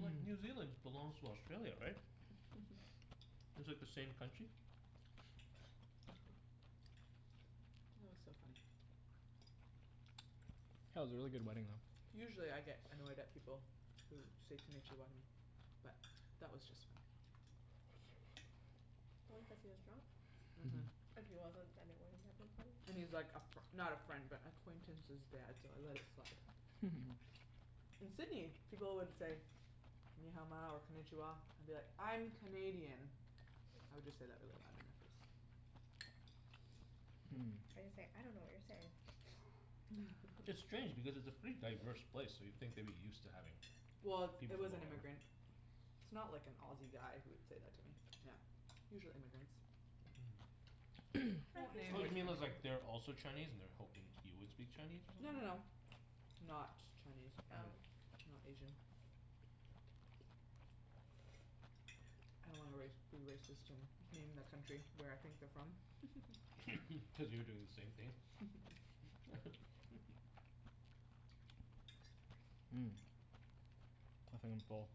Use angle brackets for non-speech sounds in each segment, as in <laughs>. like New Zealand belongs to Australia, right? It's like the same country? That was so funny. That was a really good wedding though. Usually I get annoyed at people who say Konichiwa to me, but that was just funny. Probably cuz he was drunk. Mhm. And he was like a fr- not a friend but acquaintance's dad so I let it slide. In Sydney, people would say "Ni Hao Ma" or "Konichiwa" and I'll be like, "I'm Canadian." I would just say that really loud in their face. Or you say, "I dunno what you're saying." It's strange because it's a pretty diverse place so you'd think they'd be used to having Well, it was an immigrant. It's not like an Aussie guy who would said that to me. Yeah. Usually immigrants. Mhm. Oh you mean cuz like they're also Chinese and they were hoping you would speak Chinese or No no something? no. Not Chinese, um, Oh. not Asian. I don't wanna race, be racist and name that country, where I think they're from. Cuz you're doing the same thing. <laughs> Mm. I think I'm full.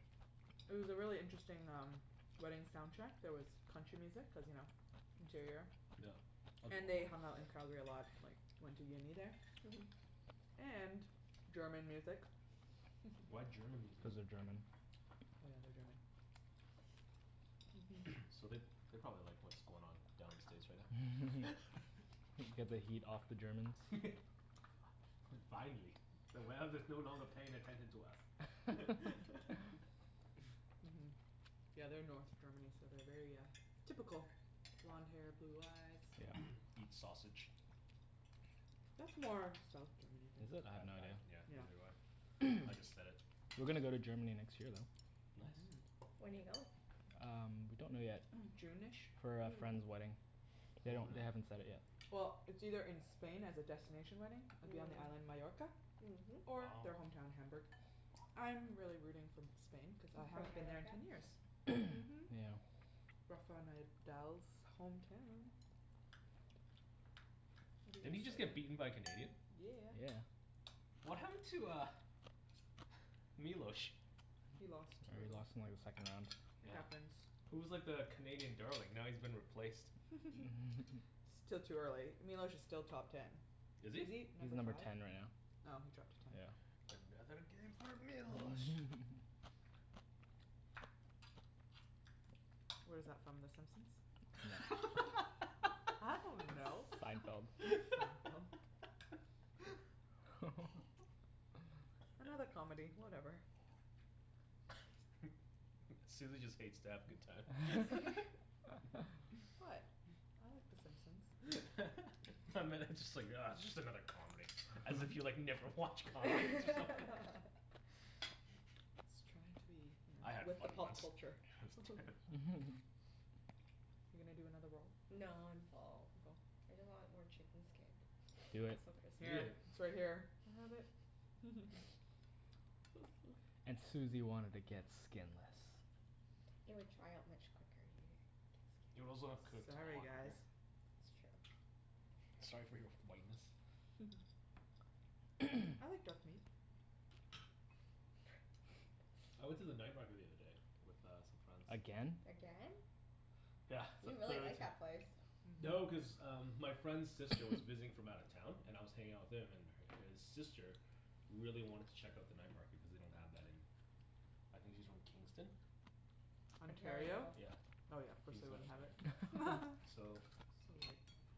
It was a really interesting um, wedding soundtrack, there was country music cuz you know, interior. Yeah. And they hung out in Calgary a lot like, they went to uni there. Mhm. And German music. Why German music? Cuz they're German. Oh yeah they are German. <noise> So they, they probably like what's going on down in States right now. <laughs> Get the heat off the Germans? <laughs> Fi- yeah, finally. The world is no longer paying attention to us. <laughs> Mhm, yeah they are North Germany so they are very uh, typical, blonde hair blue eyes. Yeah. <noise> Eat sausage. That's more South Germany I Is think. it? I have no Yeah, idea. Yeah neither do I. I just said it. We're gonna go to Germany next year though. Nice. When do you go? Um, we don't know yet. june-ish? For a friend's wedding. They don't, they haven't set it yet. Well, it's either in Spain as a destination wedding, it'd be on the island Majorca Or Wow. their homeown their Hamburg. I am really rooting for Spain cuz I haven't been there in ten years. Mhm. Yeah. Rafael Nadal's hometown. Didn't he just get beaten by a Canadian? Yeah. Yeah. What happened to uh, <noise> Milos? He lost, Yeah, he early. lost in like his second round. It Yeah, happens he was like the Canadian darling. Now he's been replaced. <laughs> Still too early, Milos is still top ten. Is Is he? he He's number number five? ten right now. Oh, he dropped to ten. Yeah. Another game for Milos! Mhm Where's that from, the Simpsons? <laughs> I dunno! Seinfeld. Seinfield? Another comedy, whatever. <noise> Susie just hates to have a good time. <laughs> <laughs> What, I like the Simpsons. <laughs> I meant, just like ugh just another comedy, as if you like, never watch comedies or something. <laughs> I was trying to be you know, I had with the fun pop once. culture. Are you gonna do another roll? No, I'm full. You're full? I just want more chicken skin. Do it. It's so crispy. Eat Here, it. it's right here. I have it! And Susie wanted to get skinless. It would dry out much quicker. <inaudible> It would get also have skin. cooked a Sorry lot quicker. guys. That's true. Sorry for your whiteness? I like dark meat. I went to the night market the other day with uh some friends. Again? Again? Yeah, for You the really third like ti- that place. No, cuz um my friend's sister was visiting from out of town and I was hanging out with him and her, his sister really wanted to check out the night market cuz they don't have that in, I think she's from Kingston? Ontario? Ontario? Oh Yeah, yeah, of course they Kingston wouldn't have it. <laughs> Ontario. So. So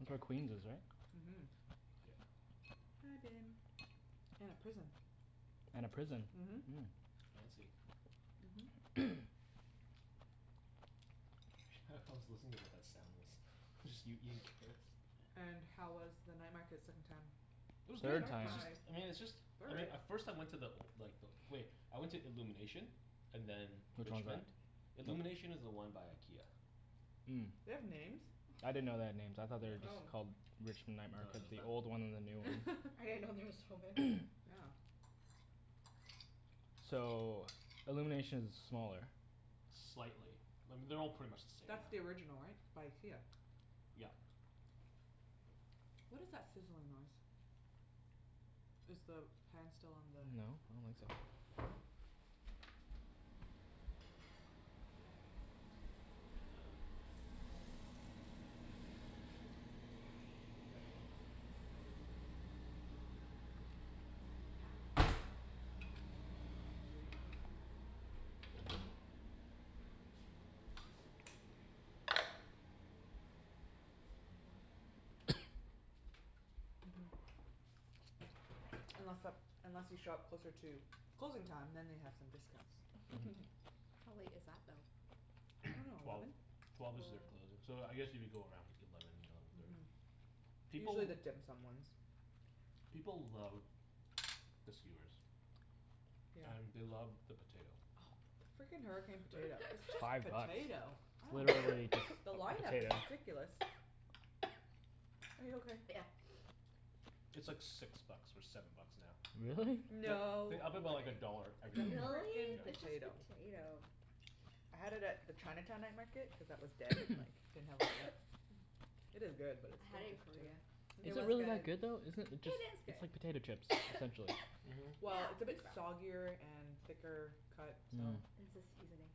That's where Queens is right? Mhm. Yep. I've been. And a prison. And a prison. Mhm. Fancy. Mhm. Hah, I was listening to what that sound was. It was just you eating carrots. And how was the night market second time? It was good! Third Third time! It's just, time! I mean it's just I mean, Third? at first I went to the old, like the old wait, I went to Illumination and then, Which one is that? Richmond. Illumination is the one by IKEA. Mm. They have names? I didn't know they had names, I thought they were just called Richmond Night Market, the old one and the new one. I didn't know there <laughs> was so many. Yeah. So, Illuminations is smaller Slightly. I mean, they're all pretty much the same now. That's the original right? By IKEA. Yep. What is that sizzling noise? Is the pan still on the No, I don't think so. So then what happened? It was good yeah, we just went, it's just expensive right. Is it? Yeah. And then like each food item, each food item you're looking at like close to ten bucks, Oh if yeah not more. It adds up quickly. Yeah that's true. Yeah, and then like pretty much your, I mean if you wanted to eat like an actual meal there like if you go there hungry, you're probably gonna buy like, say, three things, so. Mhm. Mhm. Unless uh unless you show up closer to closing time then they have some discounts. How late is that I though? dunno, <noise> Twelve. eleven? Twelve is their closing, so I guess if you go around eleven, eleven thirty. People Usually the dim sum ones. People love the skewers. Yeah. And they love the potato. Oh, the freakin hurricane potato It's It's just five bucks. <laughs> potato, I It's don't get literally it. just The a line up is potato. ridiculous. <noise> Are you okay? Yeah. It's like six bucks or seven bucks now. Really? They No. they up it about a dollar every It's a single year. Really? freakin It's just potato. potato. I had it at the Chinatown night market cuz that was dead and like, didn't have a line up. <noise> It is good but it's I still had it in just potato. Korea. It Is it was really that good. good though? Isn't it, it just, it's like It is good. potato chips, essentially Mhm. Well, it's a bit soggier and thicker cut Mm. so. It's the seasoning.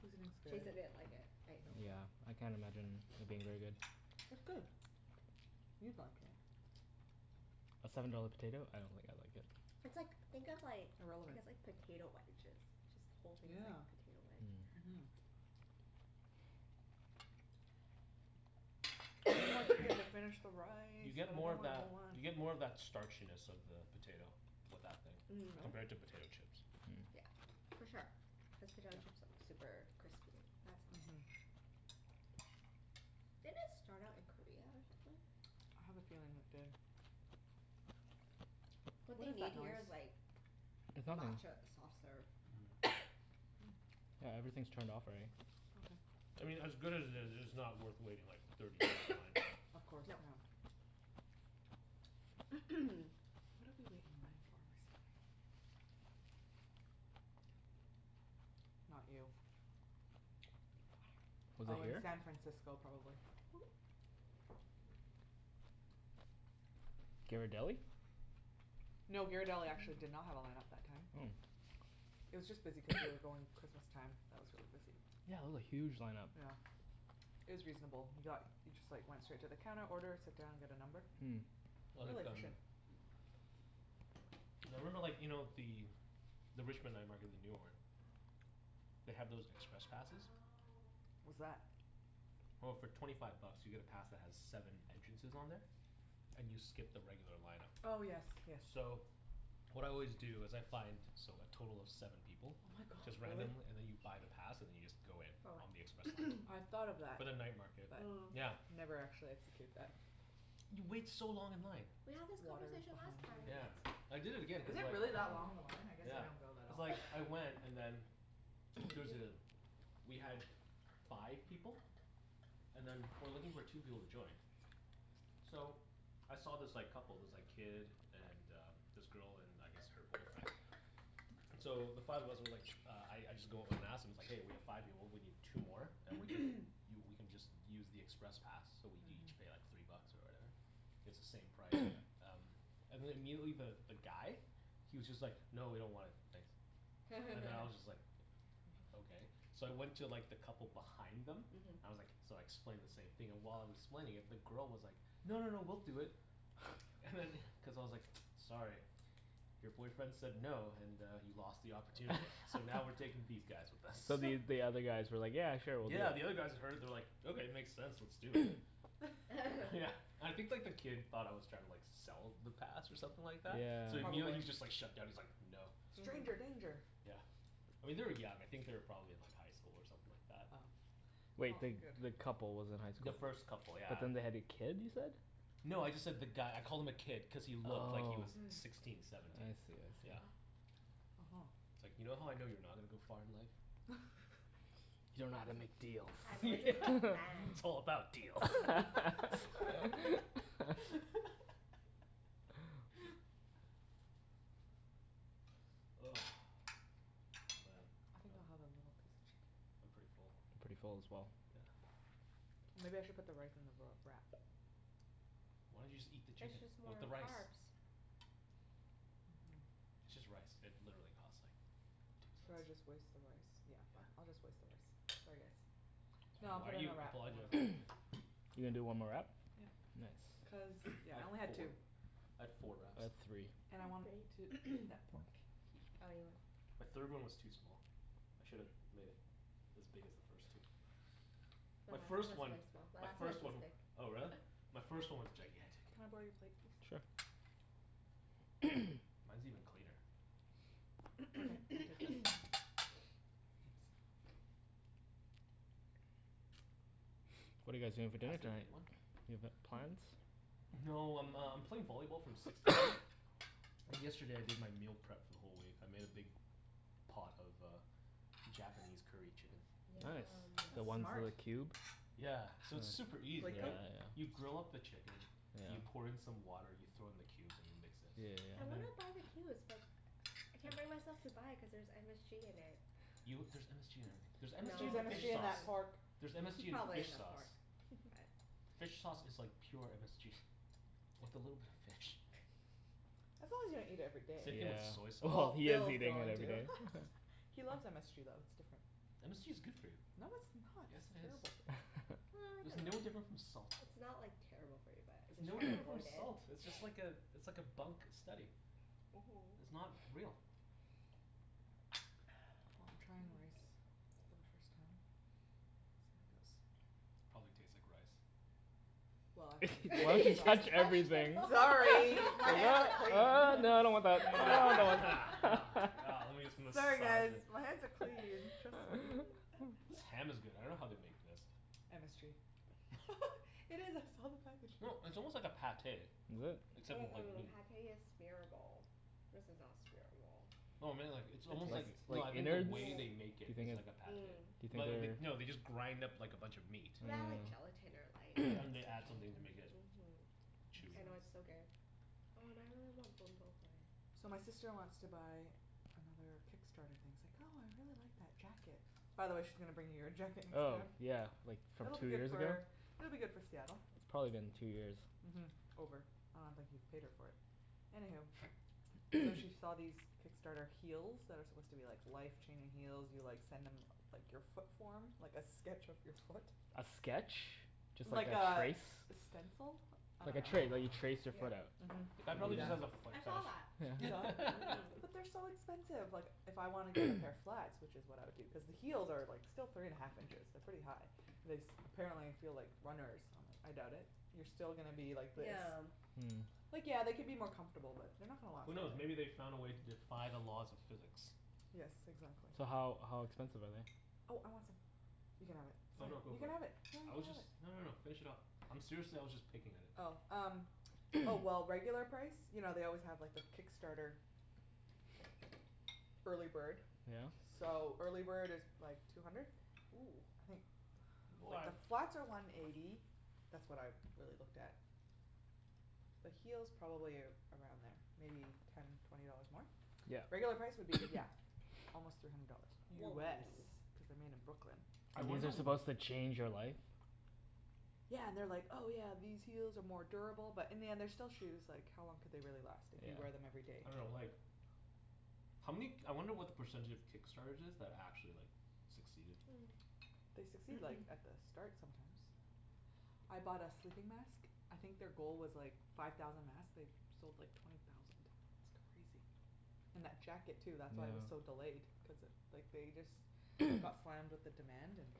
Seasoning's good. Jason didn't like it Yeah, I can't <inaudible> imagine it being really good. It's good. You'd like it. A seven dollar potato, I don't think It's I'd like it. like, think of like, I guess like potato wedges, just the whole thing is like Yeah, potato wedge. mhm. We need more chicken to <noise> finish the rice, You get and I more don't of want a that, whole one. you get more of that starchiness of the potato with that thing. Mhm. Compared to potato Really? chips. Yeah, for sure. Cuz potato chips are super crispy. That's not. Mhm. Did it start out in Korea or something? I have a feeling it did. What What they is need that here is noise? like It's nothing. matcha soft serve. <noise> Yeah, everything's turned off already. I Okay. mean as good as it is, it's not worth waiting like thirty minutes in line for. Of course, yeah. What did we <noise> wait in line for recently? Not you. Was it Oh in here? San Francisco probably. Ghirardelli? No, Ghirardelli actually did not have a line up that time. Oh. It was just busy cuz we were going Christmas time, that was really busy. Yeah, it was a huge lineup. Yeah. It was reasonable. We got, we just like went straight to the counter order, sit down, get a number. Mm. I Really like them. efficient. Yeah, I remember like, you know the, the Richmond night market, the newer one, they have those express passes. What's that? Well, for twenty five bucks you get a pass that has seven entrances on there, and you skip the regular line up. Oh yes yes. So what I always do is I find so like, total of seven people. Oh my god, Just really? randomly, and then you buy the pass and then you just go in. For what? On the express I line. thought of that For but the night market. Yeah. Mm. Never actually execute that. You wait so long in line. We had this Water conversation behind last you time. if you Yeah. want some I did it again Is cuz it like really that long, the line? I guess I Yeah, don't go that cuz often. like, I went and then there was a, we had five people and then we were looking for two people to join. So I saw this like couple, this like kid and uh this girl and I guess her boyfriend. So the five of us were like, uh I I just go up and ask, and I was like, "Hey we have five people we need two more and we can, you we can just use the express pass so we each pay like three bucks or whatever, it's the same price." And then immediately the guy he was just like, "No, we don't want it, thanks." And then I was <laughs> just like, "Okay." So I went to like the couple behind them, I was like, so I explained the same thing and while I was explaining it the girl was like, "No, no, no, we'll do it." And then cuz I was like, "Sorry, your boyfriend said no and uh he lost the opportunity." So now we're <laughs> taking these guys with us. So the, you, the other guys were like, "Yeah, sure we'll do it." Yeah, the other guys that heard it they were like, "Okay, it makes sense, let's do it." Yeah, <laughs> I think like the kid thought I was trying to like sell the pass or something like that? So Yeah. immediately he Probably. was just like shutdown, he's like, "No." Stranger danger! Yeah, I mean they were young, I think they were probably in like highschool or something like that. Oh. Wait, the, the couple was in The highschool? first couple But yeah. then they had a kid you said? No, I just said the guy, I called him a kid cuz he looked like he was sixteen, I seventeen. see, I see. Yeah. Uh huh. It's like, "You know how I know you're not gonna to go far in life?" <laughs> You dunno how to make <laughs> yeah, deals. it's all about deals. <laughs> <laughs> Ugh, man I think I'll have a little piece of I'm chicken. pretty full. Pretty full as well. Yeah. Maybe I should put the rice in the roll, wrap. Why don't you just eat the It's chicken just with more the rice. carbs. Mhm. It's just rice, it literally cost like two Should I cents. just waste the rice, yeah, fine, I'll just waste the rice, sorry, guys. No, I'll Why put are it in you a wrap, I want a apologizing to wrap. him? You're gonna do one more wrap? Yep Cuz Nice. I yeah, I had only had four, two. I had four wraps. I had three. And I I wanted to had three. eat that pork. The third one was too small. I should've made it as big as the first two. My My last one first was one, really small, my first one, oh but. <inaudible> really? My first one was gigantic. Can I borrow your plate please? Sure. Mine's even cleaner. Okay, I'll take this. Thanks. What are you guys doing for dinner Pass the tonight? dirty one? Do you have a, plans? No, I'm um playing volleyball from six to eight. And yesterday I did my meal prep for the whole week. I made a big pot of uh Japanese curry chicken. Yum. Nice. The That's one's that smart. are cubed? Yeah, so it's super easy, Glico? right? You grill up the chicken, you pour in some water, you throw in the cubes, and you mix it. Yeah I yeah And then wanna yeah. buy the cubes but I can't bring myself to buy it cuz there's MSG in it. You, there's MSG in everything. There's MSG Threre's No. in MSG fish in that sauce. pork There's MSG in Probably fish in the sauce. pork, but. Fish sauce is like pure MSG, with a little bit of fish. As long as you don't eat it every day. Same Yeah. thing with soy Oh, sauce. Well he is Phil's eating it going every to. day. <laughs> He loves MSG though, it's different. MSG is good for you. No, it's not. Yes, It's it is. terrible. Well, I There's don't no know. difference from salt. It's not like terrible for you but I It's no try to different from avoid it. salt! It's just like uh it's like a bunk steady. It's Mhm. not real. Well, I'm trying rice, for the first time. Probably tastes like rice. Well <laughs> Sorry, my hands No are clean. no, no, I don't want that. Yeah, lemme just <laughs> Sorry massage guys, it. my hands are clean, trust me. This ham is good. I dunno how they make this. MSG. No, <laughs> <inaudible> it's almost like a Pâté. Is it? Except Mm- it's like mm, meat. Pâté is smearable, this is not smearable. No, I mean like, it's almost like, no I The mean the innards? way they Do make you it is like think, a do Pâté. you Mm. Well, they, think they, no they're they just grind up like a bunch of meat. Well, they add like Mm. gelatin or Yeah, and like they add something to make it Mhm, chewy. I know it's so good. Oh now I really want Ben Bo So my Hui. sister wants to buy another Kickstarter thing, she's like, "Oh I really like that jacket." By the way she's gonna bring you your jacket next Oh time. yeah, like from It'll be two good years ago? for, it'll be good for Seattle. It's probably been two years. Mhm. Over, I don't think he's paid her for it. Anywho. So she saw these Kickstarter heels that are supposed to be like life-changing heels, you like send them like your foot form, like a sketch of your foot. A sketch? Just like Like a a, trace? a stencil? I Like a dunno tra- like you trace your foot Mhm. The out. guy You do prolly just that. has a foot I saw that. fetish. You saw it? Mhm. <laughs> But they're so expensive, like if I want to get a pair of flats, which is what I would do cuz the heels are like still three and half inches, they're pretty high, and this apparently feel like runners, I doubt it. You're still gonna be like this Yeah. Like yeah, they could be more comfortable but they're not gonna last Who forever knows, maybe they found a way to defy the laws of physics. Yes, exactly. So how, how expensive are they? Oh I want some, you can have it. Oh no, go You for can it. have it. Phil, you I can was have just, it. no no no, finish it off. I'm seriously, I was just picking at it. Oh, um, oh well, regular price, you know they always have like the Kickstarter early bird. Yeah. So, early bird is like two hundred? Woo. I think The What flats are one eighty, that's what I really looked at. The heels probably around there, maybe ten twenty dollars more? Yeah. Regular price would be yeah, almost three hundred dollars. Whoa. US, cuz they're made in Brooklyn. I These wonder are w- supposed to change your life? Yeah, and they are like, "Oh yeah, these heels are more durable" but in the end they're still shoes, like how long could they really last if you wear them everyday. I dunno like, how many k- I wonder what the percentage of Kickstarters is, that actually like succeeded. Hmm. They succeed like at the start sometimes. I bought a sleeping mask, I think their goal was like five thousand masks, they sold like twenty thousand, it's crazy. And that jacket too that's why it was so delayed cuz like they just got slammed with the demand and